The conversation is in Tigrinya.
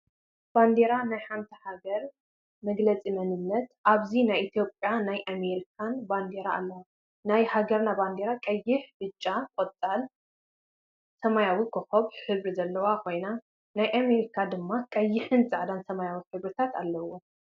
ባንዴራ ናይ ሓንቲ ሃገር መግለፂ መንነት ኣብዚ ናይ ኢትዮጰያ ናይ አሜርካን ባንደራ ኣለዋ። ናይ ሃገርና ባንዴራ ቀይሕ፣ ብጫ፣ ቆፃል ሰማያዊ ኮኮብ ሕብሪ ዘለዋ ኮይና ናይ አሜርካ ደማ ቀይሕን ፃዕዳን ሰመያዊ ሕርብሪታት ኣለውወን።